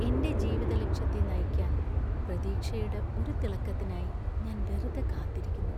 എന്‍റെ ജീവിതലക്ഷ്യത്തെ നയിക്കാൻ പ്രതീക്ഷയുടെ ഒരു തിളക്കത്തിനായി ഞാൻ വെറുതെ കാത്തിരിക്കുന്നു.